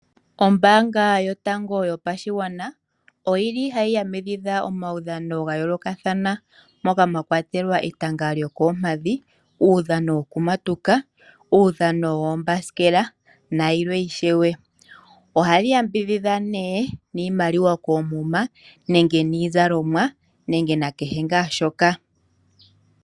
Ombaanga yotango yopashigwana oyili hayi yambidhidha omaudhano ga yoolokathana moka mwakwatelwa etanga lyokoompadhi, uudhano wokumatuka, uudhano woombasikela nayilwe ishewe. Ohali yambidhidha niimaliwa koomuma, niizalomwa nenge nakehe shoka.